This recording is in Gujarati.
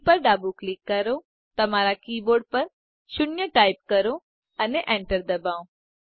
જી પર ડાબું ક્લિક કરો તમારા કી બોર્ડ પર 0 ટાઈપ કરો અને enter દબાવો